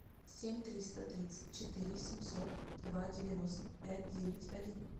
семь триста тридцать четыре семьсот два девяносто пять девять один